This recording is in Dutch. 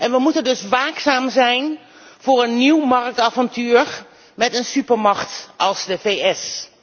We moeten dus waakzaam zijn voor een nieuw marktavontuur met een supermacht als de VS.